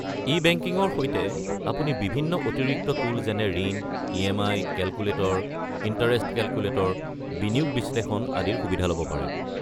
ই-বেংকিঙৰ সৈতে আপুনি বিভিন্ন অতিৰিক্ত টুল যেনে ঋণ ই.এম.আই. কেলকুলেটৰ, ইণ্টাৰেষ্ট কেলকুলেটৰ, বিনিয়োগ বিশ্লেষণ আদিৰ সুবিধা ল'ব পাৰে।